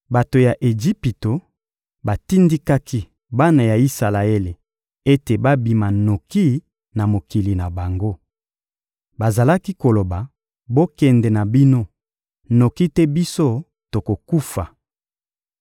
Bato ya Ejipito batindikaki bana ya Isalaele ete babima noki na mokili na bango. Bazalaki koloba: «Bokende na bino, noki te biso tokokufa.»